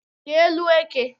Rịa élú eke